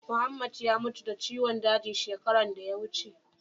Muhammed ya mutu da ciwon daji shekaran da ya wuce.